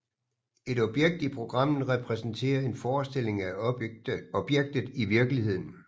Et objekt i programmet repræsenterer en forestilling af objektet i virkeligheden